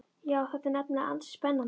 Já, þetta er nefnilega ansi spennandi.